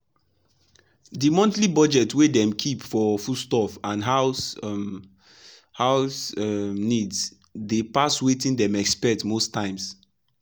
the monthly budget wey dem keep for foodstuff and house um house um needs dey pass wetin dem expect most times.